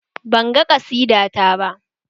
Banga ƙasida ta ba